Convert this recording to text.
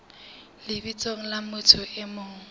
lebitsong la motho e mong